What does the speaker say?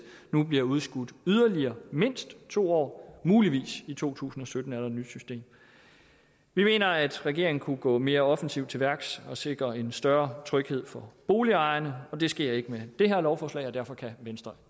bliver udskudt yderligere mindst to år muligvis i to tusind og sytten er der et nyt system vi mener at regeringen kunne gå mere offensivt til værks og sikre en større tryghed for boligejerne og det sker ikke med det her lovforslag og derfor kan venstre